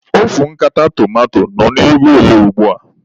Ofu nkata tomanto nọ n'ego ole ugbua?